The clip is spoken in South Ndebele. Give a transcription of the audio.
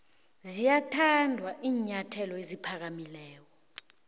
ziyathanda iinyathelo eziphakamileko